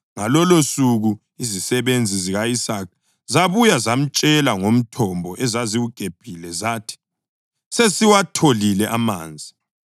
Ngalolosuku izisebenzi zika-Isaka zabuya zamtshela ngomthombo ezaziwugebhile. Zathi, “Sesiwatholile amanzi!”